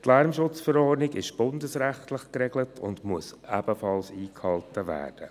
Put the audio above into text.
Die Lärmschutzverordnung ist bundesrechtlich geregelt und muss ebenfalls eingehalten werden.